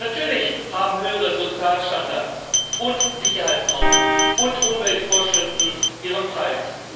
Natürlich haben höhere Sozialstandards und Sicherheitsnormen und Umweltvorschriften ihren Preis.